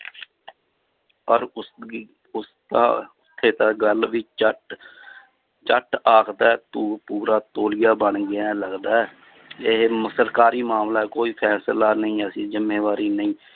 ਪਰ ਉਸਦੀ ਉਸਦਾ ਗੱਲ ਵੀ ਝੱਟ ਝੱਟ ਆਖਦਾ ਹੈ ਤੂੰ ਪੂਰਾ ਤੋਲੀਆ ਬਣ ਗਿਆ ਹੈ ਲੱਗਦਾ ਹੈ ਇਹ ਸਰਕਾਰੀ ਮਾਮਲਾ ਕੋਈ ਫੈਸਲਾ ਨਹੀਂ ਅਸੀਂ ਜ਼ਿੰਮੇਵਾਰੀ ਨਹੀਂ